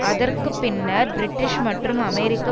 அதற்கு பின்னர் பிரிட்டிஷ் மற்றும் அமெரிக்க